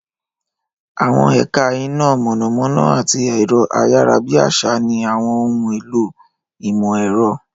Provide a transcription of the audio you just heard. Àwọn ẹ̀ka iná mọ̀nàmọ́ná àti ẹ̀rọ-ayárabíàsá ní àwọn ohun èlò ìmọ̀-ẹ̀rọ.